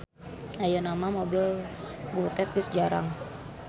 Ayeuna mah mobil butet geus jarang.